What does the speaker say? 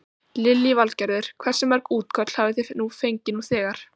Lillý Valgerður: Hversu mörg útköll hafi þið fengið nú þegar?